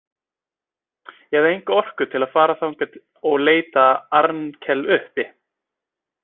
Ég hafði enga orku til að fara þangað og leita Arnkel uppi.